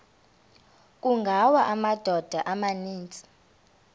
kungawa amadoda amaninzi